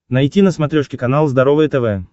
найти на смотрешке канал здоровое тв